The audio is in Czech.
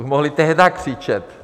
Už mohli tehdy křičet.